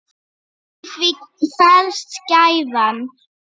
Í því felst gæfan.